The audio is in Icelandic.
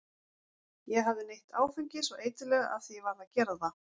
Ég hafði neytt áfengis og eiturlyfja af því ég varð að gera það.